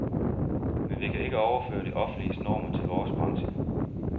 Men vi kan ikke overføre det offentliges normer til vores branche.